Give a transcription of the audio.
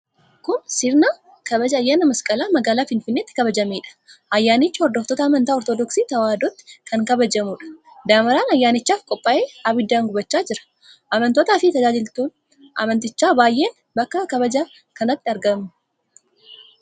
Kun sirna kabaja ayyaana Masqalaa magaalaa Finfinneetti kabajameedha. Ayyaanichi hordoftoota amantaa Ortodoksii Tewaahidootiin kan kabajamuudha. Damaraan ayyaanichaaf qophaa'e abiddaan gubachaa jira, Amantootaafi tajaajiltoonni amantichaa baay'een bakka kabaja ayyaana kanaatti argamu.